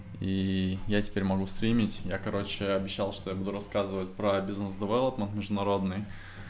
и я теперь могу стримить я короче обещал что я буду рассказывать про бизнес девелопмент международный